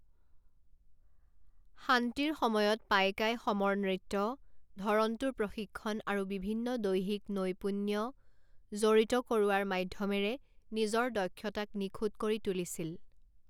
শান্তিৰ সময়ত পাইকাই সমৰ নৃত্য, ধৰণটোৰ প্ৰশিক্ষণ আৰু বিভিন্ন দৈহিক নৈপুণ্য জড়িত কৰোৱাৰ মাধ্য়মেৰে নিজৰ দক্ষতাক নিখুঁত কৰি তুলিছিল।